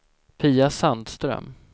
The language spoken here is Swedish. Pia Sandström